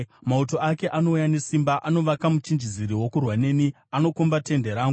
Mauto ake anouya nesimba; anovaka muchinjiziri wokurwa neni, anokomba tende rangu.